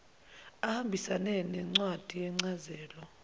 ahambisane nencwadi yencazelo